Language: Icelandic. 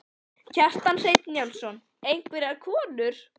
Kjartan Hreinn Njálsson: Einhverjar konur?